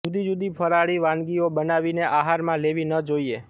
જુદી જુદી ફરાળી વાનગીઓ બનાવીને આહારમાં લેવી ન જોઈએ